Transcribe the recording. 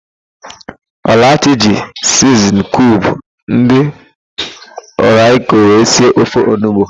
Ọlachi ji siznin kiub ndỊ rọiko wee si ofe onugbo.